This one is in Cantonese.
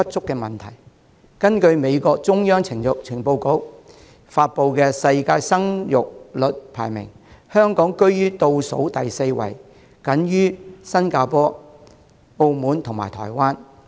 根據美國中央情報局發布的世界生育率排名，香港居於倒數第四位，僅高於新加坡、澳門及台灣。